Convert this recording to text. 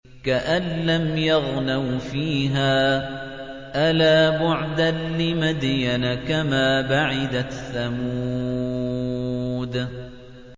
كَأَن لَّمْ يَغْنَوْا فِيهَا ۗ أَلَا بُعْدًا لِّمَدْيَنَ كَمَا بَعِدَتْ ثَمُودُ